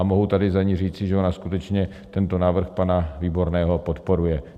A mohu tady za ni říci, že ona skutečně tento návrh pana Výborného podporuje.